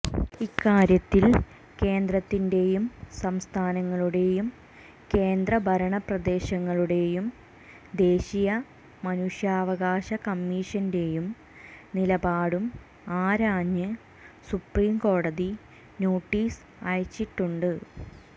ഇക്കാര്യത്തിൽ കേന്ദ്രത്തിന്റെയും സംസ്ഥാനങ്ങളുടെയും കേന്ദ്ര ഭരണപ്രദേശങ്ങളുടെയും ദേശീയ മനുഷ്യാവകാശ കമ്മിഷന്റെയും നിലപാടും ആരാഞ്ഞ് സുപ്രീം കോടതി നോട്ടീസ് അയച്ചിട്ടുണ്ട്